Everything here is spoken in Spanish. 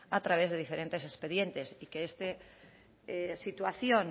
a través de diferentes expedientes y que esta situación